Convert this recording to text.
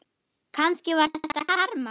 Kannski var þetta karma.